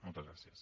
moltes gràcies